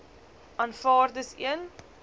aanvaar dis een